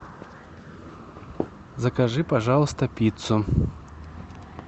закажи пожалуйста пиццу